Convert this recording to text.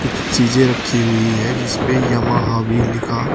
कुछ चीजे रखी हुई है जिस पे यामाहा लिखा--